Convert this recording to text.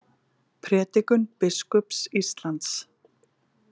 Prédikun biskups Íslands